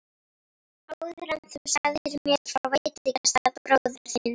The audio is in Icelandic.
Áður en þú sagðir mér frá veitingastað bróður þíns.